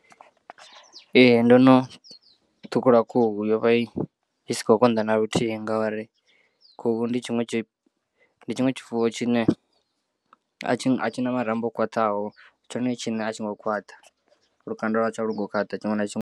Ee ndo no ṱhukhula khuhu yo vha i sa khou konḓa naluthihi ngauri khuhu ndi tshiṅwe tshifuwo tshine a tshi na marambo o khwaṱhaho tshone tshiṋe a tshi ngo khwaṱha lukanda lwa tsho alu ngou khwaṱha tshiṅwe na tshiṅwe.